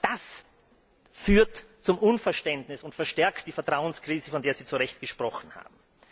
Auch das führt zu Unverständnis und verstärkt die Vertrauenskrise, von der Sie zu Recht gesprochen haben.